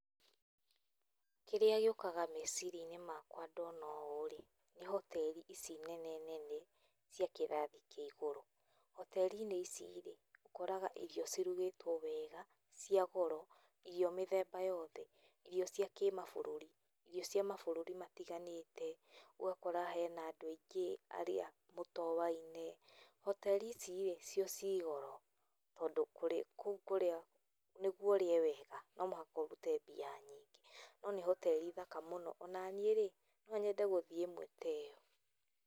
Kĩrĩa gĩũkaga meciria-inĩ makwa ndona ũũ rĩ, nĩ hoteri ici nene nene cia kírathi kĩa ĩgũrũ, hoteri-inĩ ici rĩ, ũkoraga irio cirugĩtwo wega cia goro irio mĩthemba yothe irio cia kĩmabũrũri irio cia mabũrũri matiganĩte, ũgakora hena andũ aingĩ arĩa mũtowaine. Hoteri ici rĩ, cio ci goro tondũ kũũ kũrĩa, nĩgũo ũrĩe wega no mũhaka ũrute mbia nyingĩ. No nĩ hoteri thaka mũno ona niĩ rĩ, no nyende gũthĩe ĩmwe ta ĩyo.